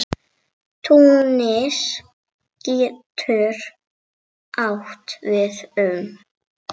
Túnis getur átt við um